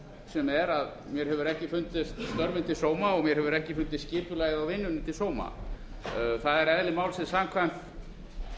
sem er að mér hefur ekki fundist störfin til sóma og mér hefur ekki fundist skipulagið á vinnunni til sóma það er eðli málsins samkvæmt